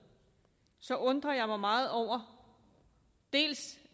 undrer jeg mig meget over